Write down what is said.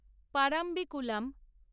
Parambikulam